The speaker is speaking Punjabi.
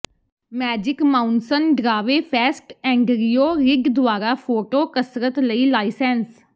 ਮੈਜਿਕ ਮਾਊਂਸਨ ਡਰਾਵੇ ਫੈਸਟ ਐਂਡਰਿਊ ਰਿਡ ਦੁਆਰਾ ਫੋਟੋ ਕਸਰਤ ਲਈ ਲਾਈਸੈਂਸ